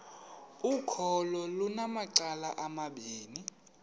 ukholo lunamacala amabini